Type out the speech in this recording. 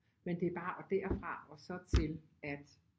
Men det er bare derfra og så til at